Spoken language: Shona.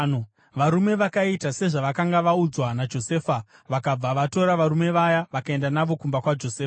Varume vakaita sezvavakanga vaudzwa naJosefa vakabva vatora varume vaya vakaenda navo kumba kwaJosefa.